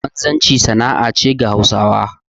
Wanzanci sana'a ce ga Hausawa